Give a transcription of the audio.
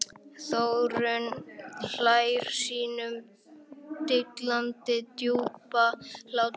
Þórunn hlær sínum dillandi djúpa hlátri.